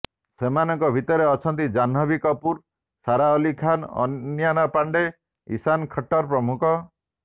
ସେମାନଙ୍କ ଭିତରେ ଅଛନ୍ତି ଜାହ୍ନବୀ କପୁର ସାରା ଅଲ୍ଲୀ ଖାନ୍ ଅନନ୍ୟା ପାଣ୍ଡେ ଇଶାନ୍ ଖଟ୍ଟର୍ ପ୍ରମୁଖ